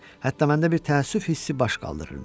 Hətta məndə bir təəssüf hissi baş qaldırırdı.